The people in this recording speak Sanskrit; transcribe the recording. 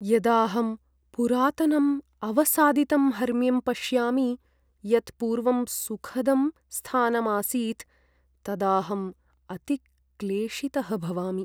यदाहं पुरातनम् अवसादितं हर्म्यं पश्यामि, यत् पूर्वं सुखदं स्थानम् आसीत्, तदाहम् अतिक्लेशितः भवामि।